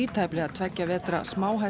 tæplega tveggja vetra